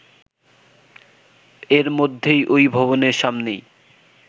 এর মধ্যেই ওই ভবনের সামনেই